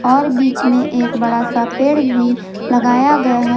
और बीच में एक बड़ा सा पेड़ भी लगाया गया है।